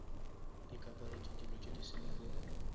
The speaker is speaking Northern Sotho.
ikaparetše dilo tše di simple